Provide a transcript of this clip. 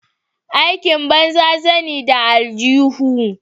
Aikin banza zani da aljuhu.